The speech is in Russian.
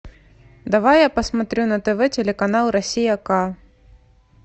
давай я посмотрю на тв телеканал россия к